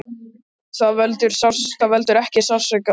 Það veldur ekki sársauka, jafnvel þótt við það sé komið.